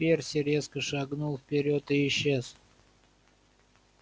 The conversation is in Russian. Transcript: перси резко шагнул вперёд и исчез